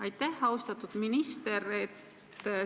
Aitäh, austatud minister!